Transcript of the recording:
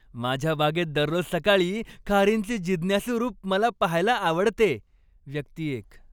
माझ्या बागेत दररोज सकाळी खारींचे जिज्ञासू रूप मला पाहायला आवडते. व्यक्ती एक